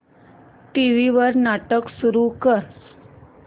TV वर नाटक सुरू कर